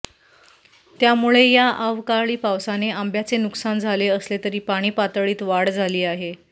त्यामुळे या आवकाळी पावसाने आंब्याचे नुकसान झाले असले तरी पाणीपातळीत वाढ झाली आहे